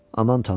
Aman Tanrım!